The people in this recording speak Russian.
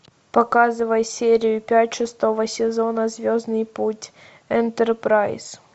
показывай серию пять шестого сезона звездный путь энтерпрайз